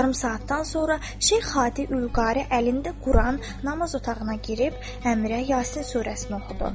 Yarım saatdan sonra Şeyx Hadi Ülqari əlində Quran namaz otağına girib Əmirə Yasin surəsini oxudu.